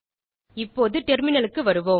இப்போது டெர்மினல் க்கு வருவோம்